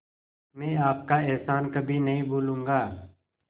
मैं आपका एहसान कभी नहीं भूलूंगा